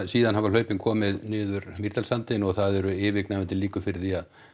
síðan hafa hlaupin komið niður Mýrdalssandinn og það eru yfirgnæfandi líkur fyrir því að